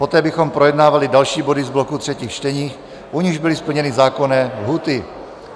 Poté bychom projednávali další body z bloku třetích čtení, u nichž byly splněny zákonné lhůty.